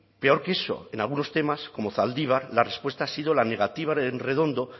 peor que eso en algunos temas como zaldibar la respuesta ha sido la negativa en redondo